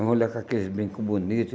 A mulher com aqueles brincos bonitos.